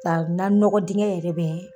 Ka nanɔgɔ diŋɛ yɛrɛ bɛɛ